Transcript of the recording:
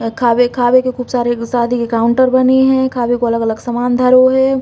अ खावे खावे के खूब सारे शादी के काउंटर बनी है। खावे को अलग अलग सामान धरो है।